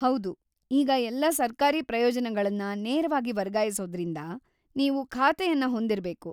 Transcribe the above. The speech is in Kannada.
ಹೌದು, ಈಗ ಎಲ್ಲಾ ಸರ್ಕಾರಿ ಪ್ರಯೋಜನಗಳನ್ನ ನೇರವಾಗಿ ವರ್ಗಾಯಿಸೋದ್ರಿಂದ, ನೀವು ಖಾತೆಯನ್ನ ಹೊಂದಿರ್ಬೇಕು.